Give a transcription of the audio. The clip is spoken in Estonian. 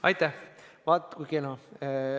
Aitäh!